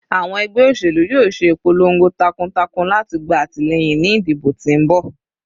Awọn ẹgbẹ oselu yoo ṣe ipolongo takuntakun lati gba atilẹyin ni idibo ti n bọ